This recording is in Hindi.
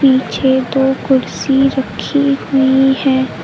पीछे दो कुर्सी रखी हुई है।